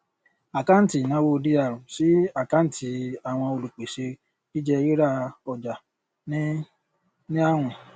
àkáǹtì ìnáwó dr sí àkáǹtì àwọn olùpèsè jíjẹ rírà ọjà ní ní àwìn